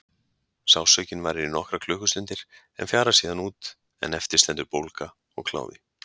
Sársaukinn varir í nokkrar klukkustundir en fjarar síðan út en eftir stendur bólga og kláði.